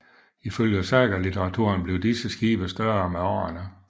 Ifølge sagalitteraturen blev disse skibe større med årene